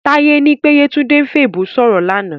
Táyé ní pé Yétúndé ń fèèbó ṣòfò lánàá